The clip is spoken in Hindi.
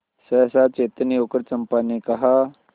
सहसा चैतन्य होकर चंपा ने कहा